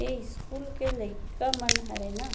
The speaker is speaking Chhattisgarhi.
ऐ स्कूल के लइका मन हरय न --